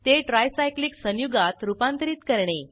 ते ट्रायसायक्लिक संयुगात रूपांतरित करणे